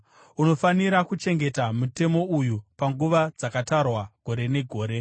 Unofanira kuchengeta mutemo uyu panguva dzakatarwa gore negore.